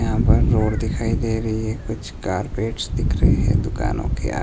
यहां पर रोड दिखाई दे रही है कुछ कारपेट दिख रहे हैं दुकानों के--